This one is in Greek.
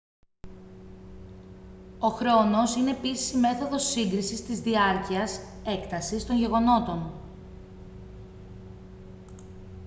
ο χρόνος είναι επίσης η μέθοδος σύγκρισης της διάρκειας έκτασης των γεγονότων